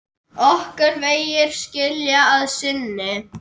Okkar vegir skilja að sinni.